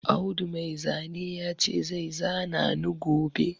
Audu Mai zane ya ce zai zana ni gobe